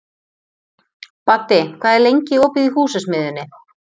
Baddi, hvað er lengi opið í Húsasmiðjunni?